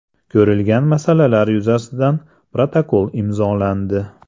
Ko‘rilgan masalalar yuzasidan protokol imzolandi.